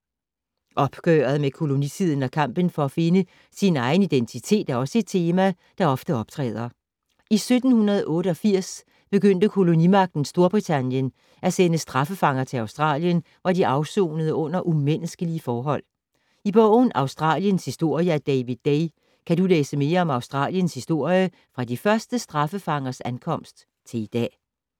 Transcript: Opgøret med kolonitiden og kampen for at finde sin egen identitet er også et tema, der ofte optræder. I 1788 begyndte kolonimagten Storbritannien at sende straffefanger til Australien, hvor de afsonede under umenneskelige forhold. I bogen Australiens historie af David Day, kan du læse mere om Australiens historie fra de første straffefangers ankomst til i dag.